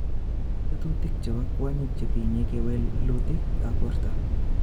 Tinye tetutik chepo kwonyik chetinye kewelutika ap porto